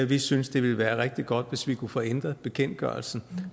vi synes det ville være rigtig godt hvis vi kunne få ændret bekendtgørelsen